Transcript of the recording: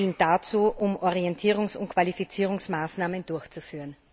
dient dazu, Orientierungs und Qualifizierungsmaßnahmen durchzuführen.